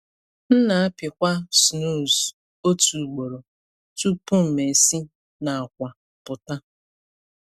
M na-apịkwa snooze otu ugboro tupu m esi n’akwa pụta.